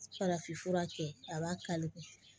Farafin fura kɛ a b'a kali